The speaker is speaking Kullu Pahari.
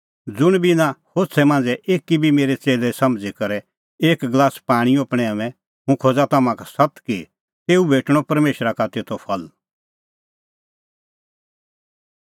ज़ुंण बी इना होछ़ै मांझ़ै एकी बी मेरै च़ेल्लै समझ़ी करै एक गलास पाणींओ पणैंऊंए हुंह खोज़ा तम्हां का सत्त कि तेऊ भेटणअ परमेशरा का तेतो फल